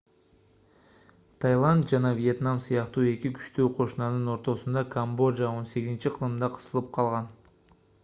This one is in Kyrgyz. тайланд жана вьетнам сыяктуу эки күчтүү кошунанын ортосунда камбожа 18-кылымда кысылып калган